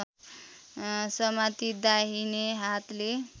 समाती दाहिने हातले